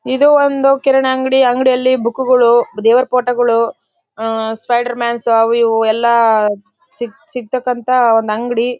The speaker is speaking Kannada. ಇದು ಒಂದು ಕಿರಾಣಿ ಅಂಗಡಿ ಅಂಗಡಿಯಲ್ಲಿ ಬುಕ್ ಗಳು ದೇವರ ಫೋಟೋ ಗಳು ಆ ಸ್ಪೈಡರ್ ಮನ್ಸ್ ಆವು ಇವು ಎಲ್ಲ ಸಿ ಸಿಕ್ತಾಕ್ಕಂತ ಒಂದು ಅಂಗಡಿ .